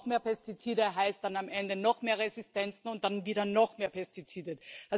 Noch mehr Pestizide heißt dann am Ende noch mehr Resistenzen und dann wieder noch mehr Pestizide.